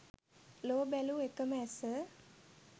ලොව බැලූ එක ම ඇස